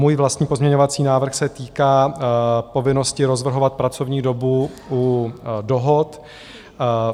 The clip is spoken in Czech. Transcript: Můj vlastní pozměňovací návrh se týká povinnosti rozvrhovat pracovní dobu u dohod.